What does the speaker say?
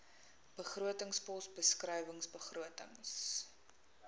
begrotingspos beskrywing begrotings